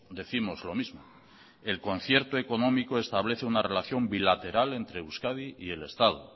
décimos lo mismo el concierto económico establece una relación bilateral entre euskadi y el estado